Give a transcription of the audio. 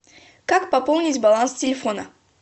как пополнить баланс телефона